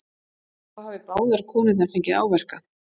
Þá hafi báðar konurnar fengið áverka